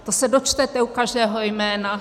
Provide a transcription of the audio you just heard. To se dočtete u každého jména.